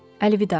Əlvida.